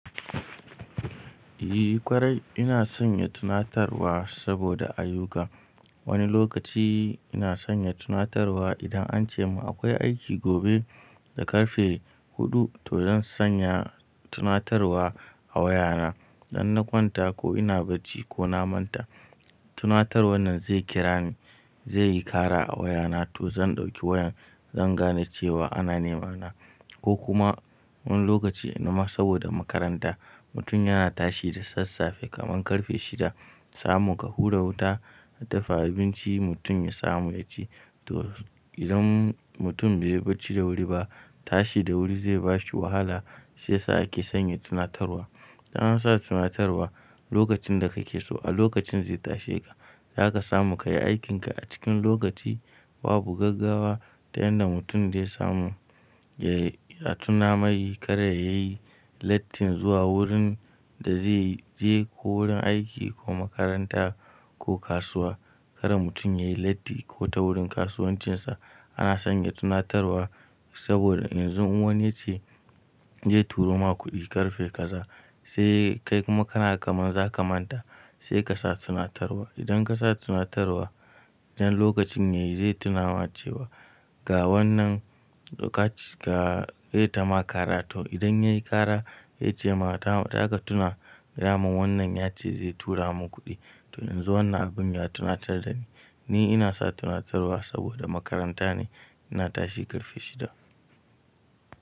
Eh ƙwarai ina sanya tunatarwa saboda ayyuka. Wani lokaci ina sanya tunatarwa idan an ce mun akwai aiki gobe da ƙarfe huɗu to zan sanya tunatarwa a wayana. Idan na kwanta ko ina barci ko na manta, tunatar wannan zai kira ni, zai yi ƙara a wayana to zan ɗauki wayan zan gane cewa ana nema na. Ko kuma wani lokaci nan ma saboda makaranta mutum yana tashi da sassafe kaman ƙarfe shida, samu ka hura wuta ka dafa abinci mutum ya samu yaci. To idan mutum bai barci da wuri ba, tashi da wuri zai bashi wahala sai sa ake sanya tunatarwa. Dan an sa tunatarwa lokacin da ka ke so a lokacin zai tashe ka, zaka samu kayi aikin ka a cikin lokaci babu gaggawa tayanda mutum dai samu ya tuna mai kar ya yi lattin zuwa wurin da zai je ko wurin aiki ko makaranta ko kasuwa. Kar mutum ya yi latti ko ta wurin kasuwancinsa ana sanya tunatarwa saboda in zun wani ya ce "ze turo ma kuɗi ƙarfe kaza" sai kai kuma kana kaman zaka manta sai ka sa tunatarwa. Idan ka sa tunatarwa idan lokacin yayi zai tuna ma cewa "ga wannan lokaci ga ze ta ma ƙara" to idan yayi ƙara ya ce ma ta "daka tuna da mun wannan yace zai tura mun kuɗi" to in zu wannan abun ya tuna tar da ni. Ni ina sa tunatarwa saboda makaranta ne ina tashi ƙarfe shida.